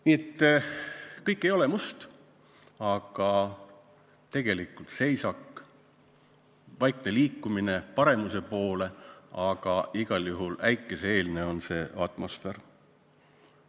Nii et kõik ei ole must, tegelikult seisak, on vaikne liikumine paremuse poole, aga igal juhul on see äikese-eelne atmosfäär.